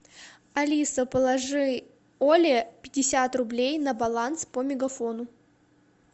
алиса положи оле пятьдесят рублей на баланс по мегафону